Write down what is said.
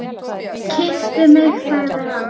Kysstu mig sagði hann.